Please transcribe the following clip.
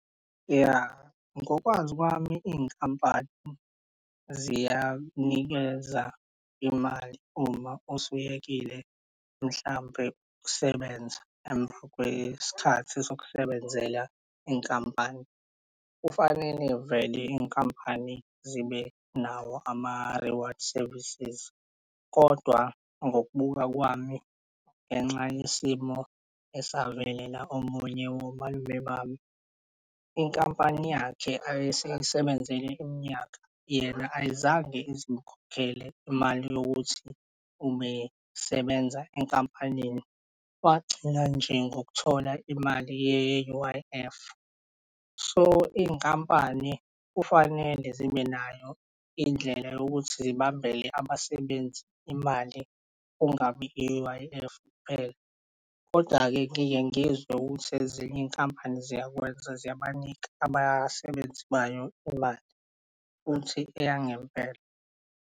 Ya, ngokwazi kwami iy'nkampani ziyakunikeza imali uma usuyekile mhlampe ukusebenza emva kwesikhathi sokusebenzela inkampani. Kufanele vele iy'nkampani zibe nawo ama-reward services, kodwa ngokubuka kwami ngenxa yesimo esavelela omunye womalume bami. Inkampani yakhe ayisayi'sebenzele iminyaka yena ayizange izikhokhele imali yokuthi ubesebenza enkampanini wagcina nje ngokuthola imali ye-U_I_F so iy'nkampani kufanele zibe nayo indlela yokuthi zibambele abasebenzi imali, kungabi i-U_I_F kuphela. Koda-ke ngiye ngizwe ukuthi ezinye iy'nkampani ziyakwenza ziyabanika abasebenzi bayo imali, futhi eyangempela.